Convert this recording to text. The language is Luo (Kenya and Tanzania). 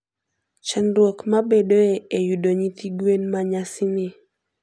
Chandruok mabedoe e yudo nyithi gwen manyasani.